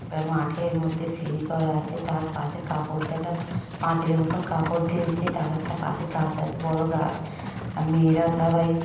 তা মাঠের মধ্যে সিঁড়ি করা আছে তার পাশে কাপড় দে (দিয়ে) একটা পাঁচিলের মতো কাপড় দিয়েছে তার একটা পাশে গাছ আছে বড়ো গাছ আ- মেয়েরা সবাই--